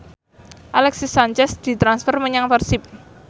Alexis Sanchez ditransfer menyang Persib